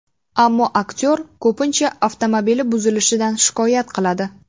Ammo aktyor ko‘pincha avtomobili buzilishidan shikoyat qiladi.